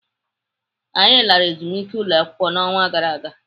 Anyị lara ezumike ụlọakwụkwọ n'ọnwa gara aga.